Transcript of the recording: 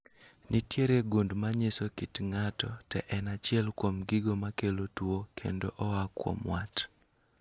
Nitiere gund manyiso kit ng'ato to en achiel kuom gigo makelo tuo kendo oa kuom wat